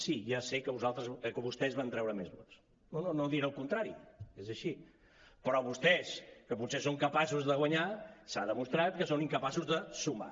sí ja sé que vostès van treure més vots no diré el contrari és així però vostès que potser són capaços de guanyar s’ha demostrat que són incapaços de sumar